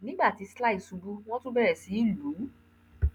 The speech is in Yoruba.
nígbà tí sly ṣubú wọn tún bẹrẹ sí í lù ú